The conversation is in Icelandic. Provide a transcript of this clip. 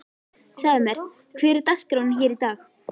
Segðu mér, hver er dagskráin hér í dag?